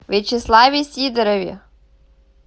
вячеславе сидорове